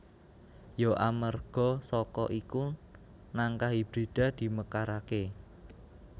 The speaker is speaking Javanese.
Ya amarga saka iku nangka hibrida dimekaraké